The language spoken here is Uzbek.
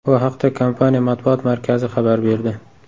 Bu haqda kompaniya matbuot markazi xabar berdi .